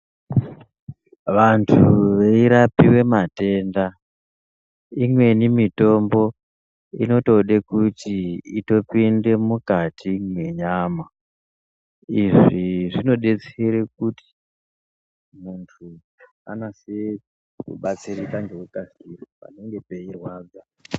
Vantu veirapiwenmatenda imweni mitombo inotode kuti itopinde mukati mwenyama izvi zvinodetsere kuti Muntu anase kubatsirika ngekukasira panenge peirwadza.